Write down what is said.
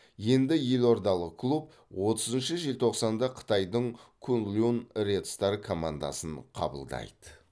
енді елордалық клуб отызыншы желтоқсанда қытайдың куньлунь ред стар командасын қабылдайды